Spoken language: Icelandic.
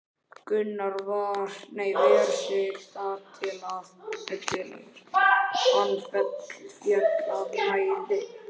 Gunnar ver sig þar til er hann féll af mæði.